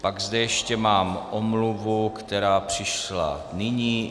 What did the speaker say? Pak zde ještě mám omluvu, která přišla nyní.